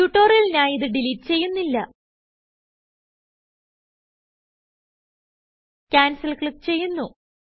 ട്യുട്ടോറിയലിനായി ഇത് ഡിലീറ്റ് ചെയ്യുന്നില്ല Cancelക്ലിക്ക് ചെയ്യുന്നു